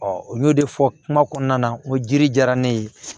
u y'o de fɔ kuma kɔnɔna na n ko jiri diyara ne ye